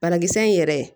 Banakisɛ in yɛrɛ